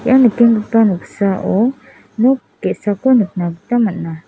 ia nikenggipa noksao nok ge·sako nikna gita man·a.